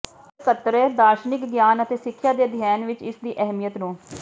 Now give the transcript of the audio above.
structure ਦਾਰਸ਼ਨਿਕ ਗਿਆਨ ਅਤੇ ਸਿੱਖਿਆ ਦੇ ਅਧਿਐਨ ਵਿਚ ਇਸ ਦੀ ਅਹਿਮੀਅਤ ਨੂੰ